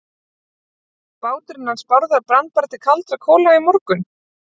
Nú, báturinn hans Bárðar brann bara til kaldra kola í morgun.